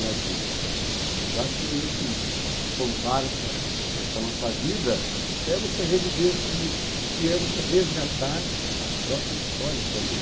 Né? Quer dizer, então acho que esse contar essa essa nossa vida é você reviver tudo isso e é você resgatar a própria história também.